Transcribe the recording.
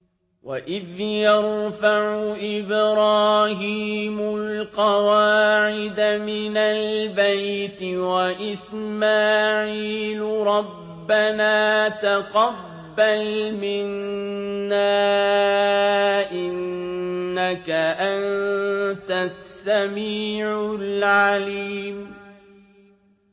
وَإِذْ يَرْفَعُ إِبْرَاهِيمُ الْقَوَاعِدَ مِنَ الْبَيْتِ وَإِسْمَاعِيلُ رَبَّنَا تَقَبَّلْ مِنَّا ۖ إِنَّكَ أَنتَ السَّمِيعُ الْعَلِيمُ